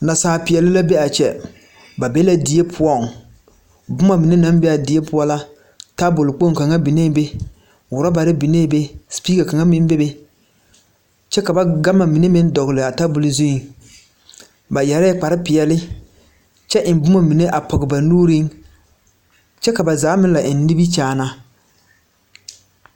Nasal peɛle la be a kyɛ ba bee die poɔŋ boma mine naŋ be a die poɔ tabol kpoŋ kaŋa biŋe be rɔbare biŋe be supika kaŋa meŋ bebe kyɛ ka ba gama mine meŋ dɔgle zuiŋ ba yɛrɛɛ kpare peɛle kyɛ eŋ boma mine a pɔg ba nuuriŋ kyɛ ka ba zaa meŋ la eŋ nimikyaana.